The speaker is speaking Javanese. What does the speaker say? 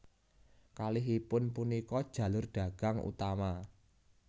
Kalihipun punika jalur dagang utama